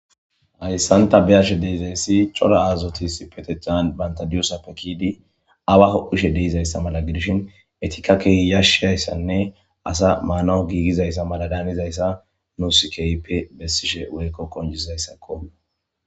Hayssanta biashe deizayssi cora azotis peteccan bantadiyosa pekidi awaho ushe deizayssa mala gidishin etika kehi yashshayssanne asa maanawu giigizayssa mala daanizayssa nusikeype bessishe woykko konjizayssakko.